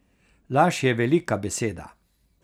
Laž je velika beseda.